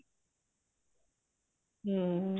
ਹਮ